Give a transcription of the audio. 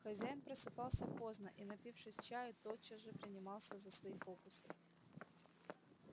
хозяин просыпался поздно и напившись чаю тотчас же принимался за свои фокусы